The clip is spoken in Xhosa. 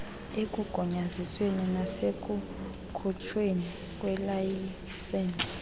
ekugunyazisweni nasekukhutshweni kweelayisensi